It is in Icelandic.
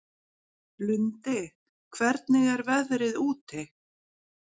Lundi, hvernig er veðrið úti?